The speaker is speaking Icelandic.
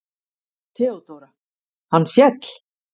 THEODÓRA: Hann féll!